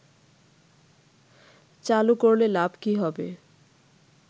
চালু করলে লাভ কি হবে